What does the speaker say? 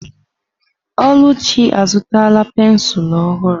Oluchi azụtala pensụl ọhụrụ.